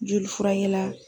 Joli furakɛla